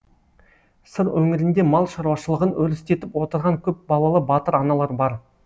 сыр өңірінде мал шаруашылығын өрістетіп отырған көпбалалы батыр аналар бар